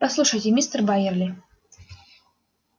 послушайте мистер байерли